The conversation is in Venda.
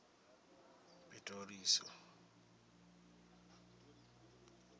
pitirosi